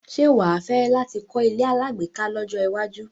Ṣé wà á fẹ́ láti kọ́ ilé alágbèéká lọ́jọ́ iwájú?